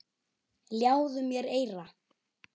Ljáðu mér eyra.